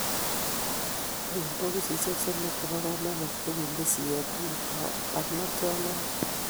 Eng bokosisiek somok chebo komonut ko kiinde siyet tugul barnotiot noto